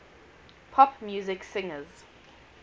pop music singers